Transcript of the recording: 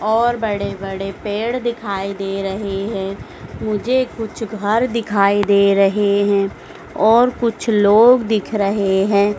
और बड़े बड़े पेड़ दिखाई दे रहे है मुझे कुछ घर दिखाई दे रहे है और कुछ लोग दिख रहे है।